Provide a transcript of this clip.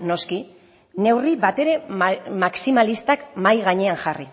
noski neurri batere maximalistak mahai gainean jarri